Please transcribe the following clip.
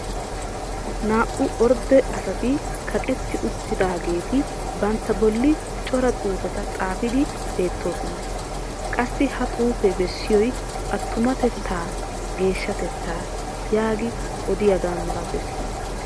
naa'u orde asati kaqetti utaageeti bantta boli cora xuufeta xaafidi beetoososna. qassi ha xuufee bessiyoy attumatettaa geeshshatettaa yaagi odiyaagaa malatees.